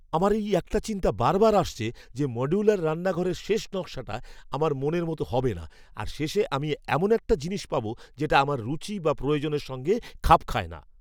আমার এই একটা চিন্তা বারবার আসছে যে মডুলার রান্নাঘরের শেষ নকশাটা আমার মনের মতো হবে না আর শেষে আমি এমন একটা জিনিস পাব যেটা আমার রুচি বা প্রয়োজনের সঙ্গে খাপ খায় না।